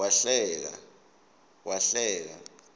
wahleka